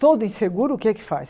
Todo inseguro o que é que faz?